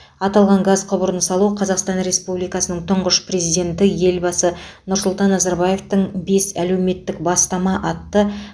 аталған газ құбырын салу қазақстан республикасының тұңғыш президенті елбасы нұрсұлтан назарбаевтың бес әлеуметтік бастама атты